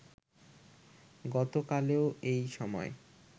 গতকালও এই সময়